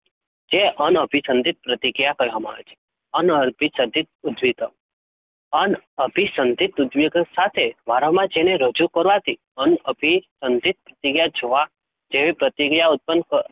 જે અન અભિસંધિત પ્રતિક્રિયા કહેવામાં આવે છે. અન અભિસંધિત ઉદ્દીપક અન અભિસંધિત ઉદ્દીપક સાથે વારંવાર જેને રજુ કરવાથી અન અભિસંધિત ક્રિયા જોવા જેવી પ્રતિક્રિયા ઉત્પન્ન ક